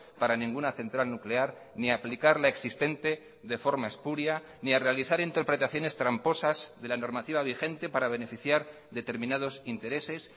para ninguna central nuclear ni aplicar la existente de forma espuria ni a realizar interpretaciones tramposas de la normativa vigente para beneficiar determinados intereses